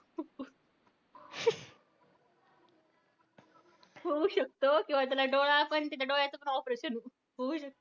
होऊ शकतो किंवा त्याला डोळा पण त्याच्या डोळ्याचं पण operation होऊ शकतं.